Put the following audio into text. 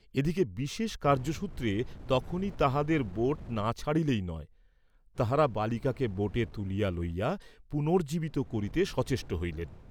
এদিকে বিশেষ কার্য্যসূত্রে তখনি তাঁহাদের বােট না ছাড়িলেই নয়, তাঁহারা বালিকাকে বোটে তুলিয়া লইয়া, পুনর্জ্জীবিত করিতে সচেষ্ট হইলেন।